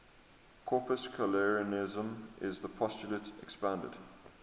corpuscularianism is the postulate expounded